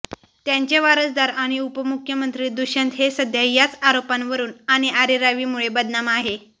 त्यांचे वारसदार आणि उपमुख्यमंत्री दुष्यंत हे सध्या याच आरोपांवरून आणि अरेरावीमुळे बदनाम आहे